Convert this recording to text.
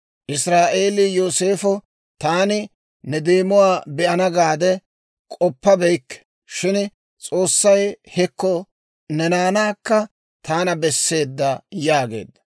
Israa'eele Yooseefa, «Taani ne deemuwaa be'ana gaade k'oppabeykke; shin S'oossay hekko ne naanaakka taana besseedda» yaageedda.